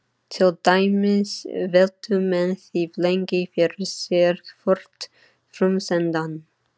Til dæmis veltu menn því lengi fyrir sér hvort frumsendan: